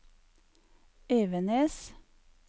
Evenes